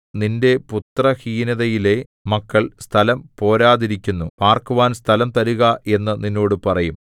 നിന്റെ പുത്രഹീനതയിലെ മക്കൾ സ്ഥലം പോരാതിരിക്കുന്നു പാർക്കുവാൻ സ്ഥലം തരുക എന്നു നിന്നോട് പറയും